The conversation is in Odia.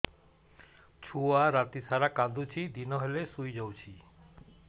ଛୁଆ ରାତି ସାରା କାନ୍ଦୁଚି ଦିନ ହେଲେ ଶୁଇଯାଉଛି